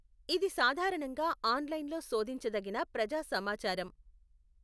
ఇది సాధారణంగా ఆన్లైన్లో శోధించదగిన ప్రజా సమాచారం.